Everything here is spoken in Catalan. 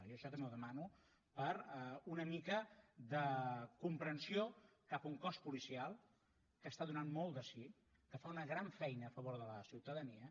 jo això també ho demano per una mica de comprensió cap a un cos policial que està donant molt de si que fa una gran feina a favor de la ciutadania